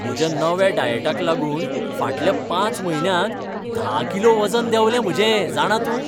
म्हज्या नव्या डायटाक लागून फाटल्या पांच म्हयन्यांत धा किलो वजन देंवलें म्हजें, जाणा तूं.